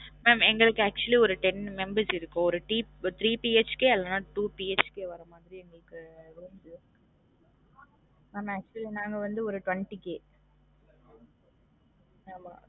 mam எங்களுக்கு actually ஒரு ten members இருக்கோம் ஒரு thi~ three BHK க்கு அல்லனா ஒரு two BHK வரும் மாதிரி எங்களுக்கு mam actually நாங்க வந்து ஒரு twenty K ஆமா